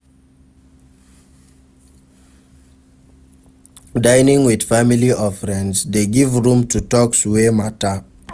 Dining with family or friends de give room to talks wey matter